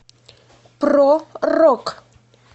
про рок